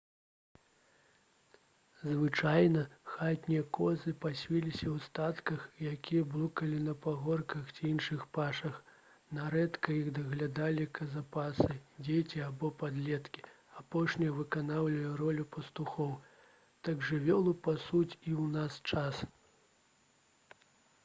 звычайна хатнія козы пасвіліся ў статках якія блукалі па пагорках ці іншых пашах нярэдка іх даглядалі казапасы дзеці або падлеткі апошнія выконвалі ролю пастухоў так жывёлу пасуць і ў наш час